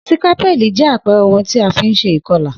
Sikapẹli jẹ àpere oun èlò ti a fi n se ìkolà